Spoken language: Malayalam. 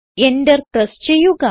Enter പ്രസ് ചെയ്യുക